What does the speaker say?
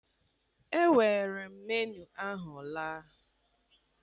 Ewere m menuu ahụ laa